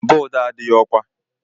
Bọd a adịghị ọkwà.